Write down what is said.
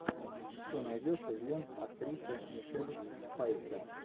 что найдешь из лент актрисы мишель пфайфер